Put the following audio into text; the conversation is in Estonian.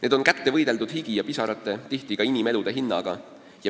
Need on kätte võideldud higi ja pisarate, tihti ka inimelude hinnaga.